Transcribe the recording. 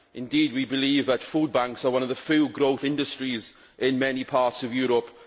Indeed, we believe that food banks are currently one of the few growth industries in many parts of Europe.